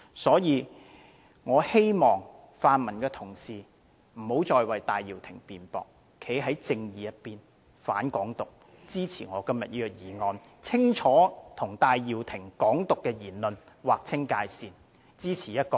因此，我希望泛民的同事不要再為戴耀廷辯駁，應站在正義的一方，反對"港獨"，支持我今天的議案，清清楚楚地與戴耀廷的"港獨"言論劃清界線，支持"一國兩制"。